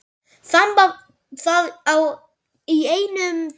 Þamba það í einum teyg.